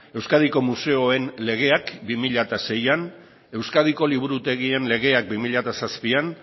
euskadiko museoen legeak bi mila seian euskadiko liburutegien legeak bi mila zazpian